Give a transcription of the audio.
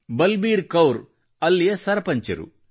ಬಲಬೀರ್ ಕೌರ್ ಅವರು ಅಲ್ಲಿಯ ಸರಪಂಚರು